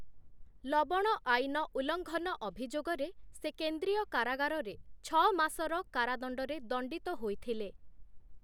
ଲବଣ ଆଇନ ଉଲ୍ଲଙ୍ଘନ ଅଭିଯୋଗରେ ସେ କେନ୍ଦ୍ରୀୟ କାରାଗାରରେ ଛଅ ମାସର କାରାଦଣ୍ଡରେ ଦଣ୍ଡିତ ହୋଇଥିଲେ ।